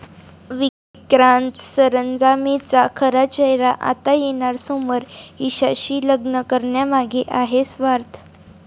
विक्रांत सरंजामेचा खरा चेहरा आता येणार समोर, ईशाशी लग्न करण्यामागे आहे स्वार्थ